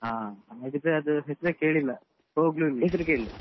ಹ ಹಾಗಾದ್ರೆ ಅದು ಹೆಸ್ರೇ ಕೇಳಿಲ್ಲ ಹೊಗ್ಲು ಇಲ್ಲ, ಹೆಸ್ರು ಕೇಳಿಲ್ಲ.